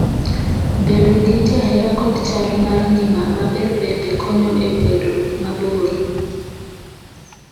Bedo gi jahera kod chal mar ngima maber bende konyo e bedo mamor